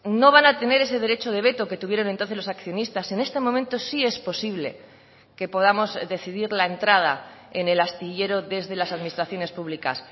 no van a tener ese derecho de veto que tuvieron entonces los accionistas en este momento sí es posible que podamos decidir la entrada en el astillero desde las administraciones públicas